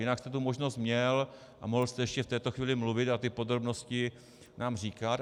Jinak jste tu možnost měl a mohl jste ještě v této chvíli mluvit a ty podrobnosti nám říkat.